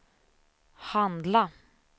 handla